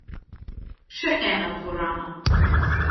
Še ena dvorana.